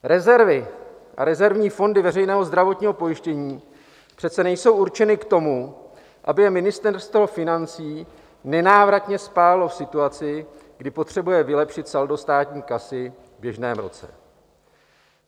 Rezervy a rezervní fondy veřejného zdravotního pojištění přece nejsou určeny k tomu, aby je Ministerstvo financí nenávratně spálilo v situaci, kdy potřebuje vylepšit saldo státní kasy v běžném roce.